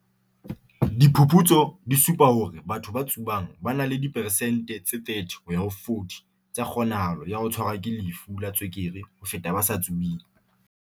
"Diphuputso di supa hore batho ba tsubang ba na le di peresente tse 30 ho ya ho 40 tsa kgonahalo ya ho tshwarwa ke lefu la tswekere ho feta ba sa tsubeng."